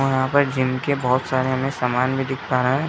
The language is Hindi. और वहाँ पर जिम के बहोत सारे हमें सामान भी दिख रहा है।